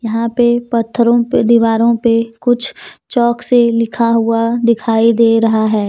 यहां पे पत्थरों पे दीवारों पे कुछ चॉक से लिखा हुआ दिखाई दे रहा है।